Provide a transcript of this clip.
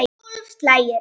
Tólf slagir.